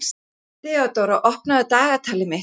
Þeódóra, opnaðu dagatalið mitt.